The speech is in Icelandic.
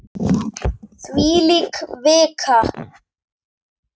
Þvílík vika!